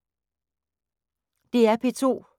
DR P2